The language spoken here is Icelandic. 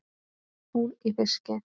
Hún í fiski.